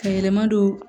Ka yɛlɛma don